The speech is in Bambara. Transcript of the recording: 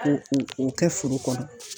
Ko o kɛ foro kɔnɔ.